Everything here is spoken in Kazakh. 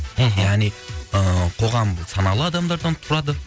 мхм яғни ы қоғам саналы адамдардан тұрады